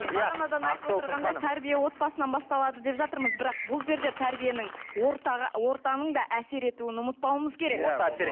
бағанадан айтып отырғандай тәрбие отбасынан басталады деп жатырмыз бірақ бұл жерде тәрбиенің ортаның да әсер етуін ұмытпауымыз керек иә орта әсер